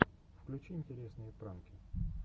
включи интересные пранки